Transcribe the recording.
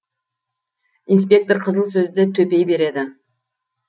инспектор қызыл сөзді төпей береді